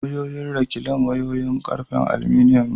Wayoyin rekilan wayoyin ƙarfen alminiyan ne.